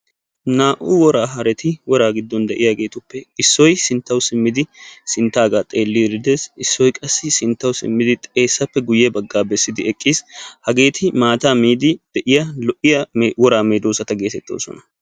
Naa"u woraa hareti woraa giddon de'iyageetuppe issoy sinttawu simmidi sinttaagaa xeellidi des. Issoy qassi sinttawu simmidi xeessappe guyye baggaa bessiddi eqqiis. Hageeti maataa miiddi de'iya lo'iya woraa medoossata geetettoosona.